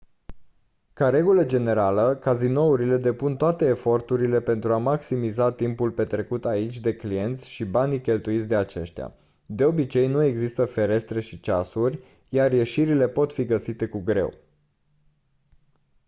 ca regulă generală cazinourile depun toate eforturile pentru a maximiza timpul petrecut aici de clienți și banii cheltuiți de aceștia de obicei nu există ferestre și ceasuri iar ieșirile pot fi găsite cu greu